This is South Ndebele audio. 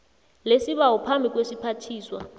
lesibawo phambi kwesiphathiswa